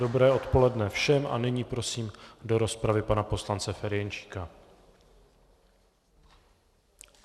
Dobré odpoledne všem a nyní prosím do rozpravy pana poslance Ferjenčíka.